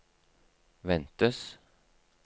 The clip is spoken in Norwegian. ventes